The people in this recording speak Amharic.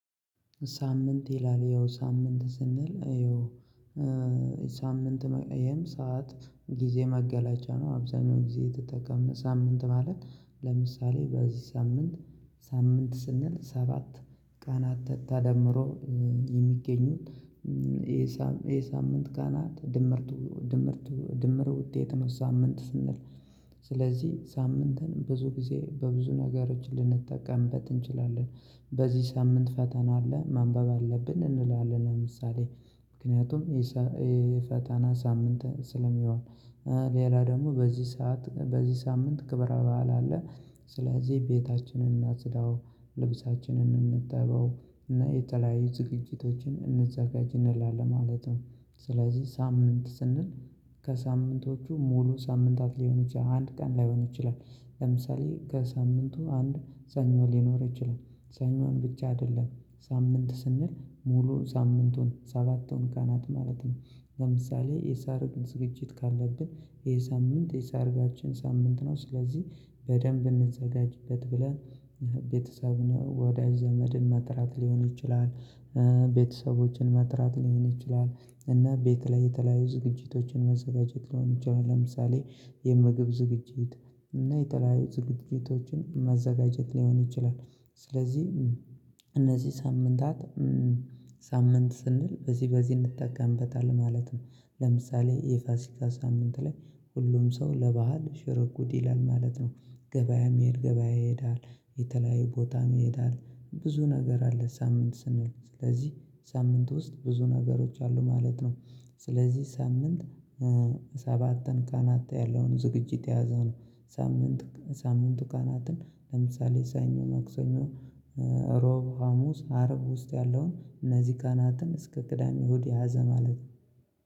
ሳምንት ይላል ያው ሳምንት ስንል ይኸው ሳምንት ይሄም ሰዓት ጊዜ መገለጫ ነው አብዛኛው ጊዜ የተጠቀመ ሳምንት ማለት ለምሳሌ በዚህ ሳምንት ሳምንት ስንል ሰባት ቀናት ተታ ደምሮ የሚገኙት የሳም የሳምንት ቀናት ድምርቱ ድምርቱ ድምሩ ውጤት ነው። ሳምንት ስንል ስለዚህ ሳምንትን ብዙ ጊዜ በብዙ ነገሮች ልንጠቀምበት እንችላለን በዚህ ሳምንት ፈተና አለ ማንበብ አለብን እንላለን ለምሳሌ ምክንያቱም ይሄ ፈተና ሳምንት ስለሚሆን ሌላ ደግሞ በዚህ ሰዓት በዚህ ሳምንት ክብረ በዓል አለ ስለዚህ ቤታችንን እናጽዳው ልብሳችንን እንጠበው እና የተለያዩ ዝግጅቶችን እንዘጋጅ እንላለን ማለት ነው። ስለዚህ ሳምንት ስንል ከሳምንቶቹ ሙሉ ሳምንታት ሊሆን ይችላል አንድ ቀን ላይሆን ይችላል ለምሳሌ ከሳምንቱ አንድ ሰኞ ሊኖር ይችላል ሰኞን ብቻ አይደለም ሳምንት ስንል ሙሉ ሳምንቱን ሰባቱን ቀናት ማለት ነው። ለምሳሌ የሰርግ ዝግጅት ካለብን ይሄ ሳምንት የሰርጋችን ሳምንት ነው። ስለዚህ በደንብ እንዘጋጅበት ብለን ቤተሰብ ነው ወዳጅ ዘመድን መጥራት ሊሆን ይችላል ቤተሰቦችን መጥራት ሊሆን ይችላል እና ቤት ላይ የተለያዩ ዝግጅቶችን መዘጋጀት ሊሆን ይችላል ለምሳሌ የምግብ ዝግጅት እና የተለያዩ ዝግጅቶችን ማዘጋጀት ሊሆን ይችላል። ስለዚህ እነዚህ ሳምንታት ሳምንት ስንል በዚህ በዚህ እንጠቀምበታለን ማለት ነው ለምሳሌ የፋሲካ ሳምንት ላይ ሁሉም ሰው ለባህል ሽርጉድ ይላል ማለት ነው። ገበያ መሄድ ገበያ ይሄዳል የተለያዩ ቦታም ይሄዳል ብዙ ነገር አለ ሳምንት ስንል ስለዚህ ሳምንት ውስጥ ብዙ ነገሮች አሉ ማለት ነው። ስለዚህ ሳምንት ሰባትን ቀናት ያለውን ዝግጅት የያዘው ነው። ሳምንት ሳምንቱ ቀናትን ለምሳሌ ሰኞ ማክሰኞ እሮ ሮብ ሀሙስ አርብ ውስጥ ያለውን እነዚህ ቀናትን እስከ ቅዳሜ እሁድ የያዘ ማለት ነው